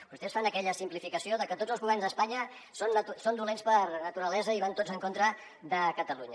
vostès fan aquella simplificació de que tots els governs d’espanya són dolents per naturalesa i van tots en contra de catalunya